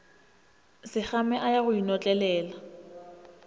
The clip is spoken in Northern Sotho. sekgame a ya go inotlelela